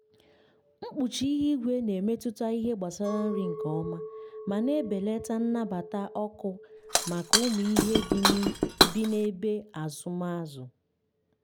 mkpuchi ihu igwe na-emetụta ihe gbasara nri nke ọma ma na-ebelata nnabata ọkụ maka ụmụ ihe bi n’ebe azụm azụ.